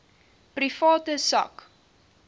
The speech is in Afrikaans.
private sak